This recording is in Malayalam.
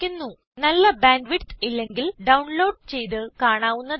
നല്ല ബാൻഡ് വിഡ്ത്ത് ഇല്ലെങ്കിൽ ഡൌൺ ലോഡ് ചെയ്ത് കാണാവുന്നതാണ്